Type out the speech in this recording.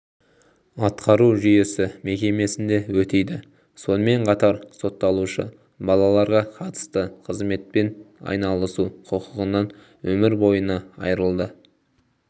атқару жүйесі мекемесінде өтейді сонымен қатар сотталушы балаларға қатысты қызметпен айналысу құқығынан өмір бойына айырылды